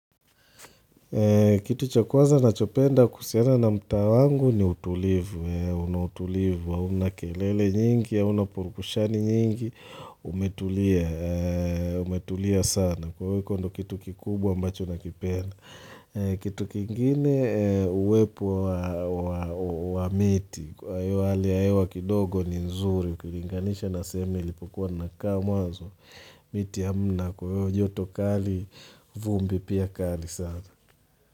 Kitu cha kwanza nachopenda kuhusiana na mtaa wangu ni utulivu, unatulivu hauna kelele nyingi, haunapurukushani nyingi, umetulia sana. Kwa weko ndo kitu kikubwa ambacho na kipenda. Kitu kingine uwepo wa miti Kwahiyo hali ya hewa kidogo ni nzuri Kilinganisha na seme nilipo kuwa na kaa mwazo miti amna kwahiyo joto kali vumbi pia kali sana.